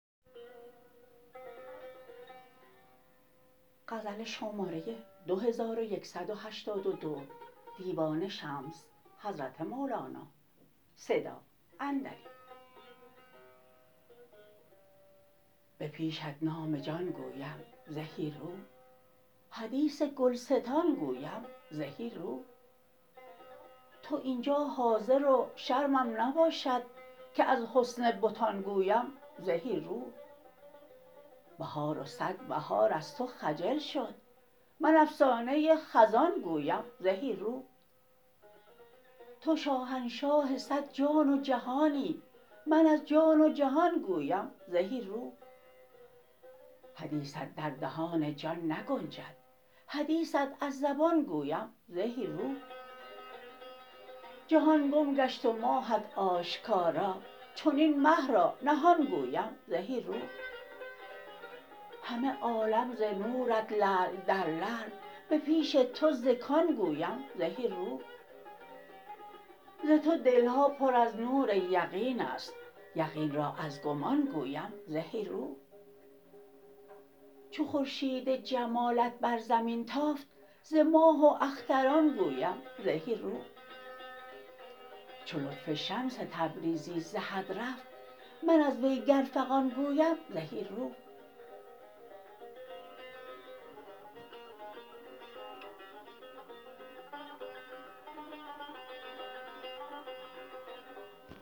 به پیشت نام جان گویم زهی رو حدیث گلستان گویم زهی رو تو این جا حاضر و شرمم نباشد که از حسن بتان گویم زهی رو بهار و صد بهار از تو خجل شد من افسانه خزان گویم زهی رو تو شاهنشاه صد جان و جهانی من از جان و جهان گویم زهی رو حدیثت در دهان جان نگنجد حدیثت از زبان گویم زهی رو جهان گم گشت و ماهت آشکارا چنین مه را نهان گویم زهی رو همه عالم ز نورت لعل در لعل به پیش تو ز کان گویم زهی رو ز تو دل ها پر از نور یقین است یقین را از گمان گویم زهی رو چو خورشید جمالت بر زمین تافت ز ماه و اختران گویم زهی رو چو لطف شمس تبریزی ز حد رفت من از وی گر فغان گویم زهی رو